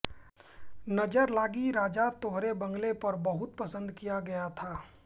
नजर लागी राजा तोरे बंगले पर बहुत पसंद किया गया था